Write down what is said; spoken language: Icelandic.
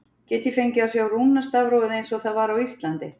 Get ég fengið að sjá rúnastafrófið eins og það var á Íslandi?